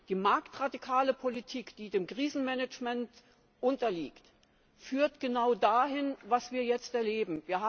Die marktradikale Politik, die dem Krisenmanagement unterliegt, führt genau zu dem, was wir jetzt erleben.